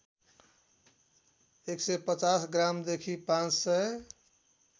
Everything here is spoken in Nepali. १५० ग्रामदेखि ५००